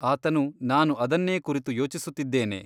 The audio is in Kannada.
ಆತನು ನಾನು ಅದನ್ನೇ ಕುರಿತು ಯೋಚಿಸುತ್ತಿದ್ದೇನೆ.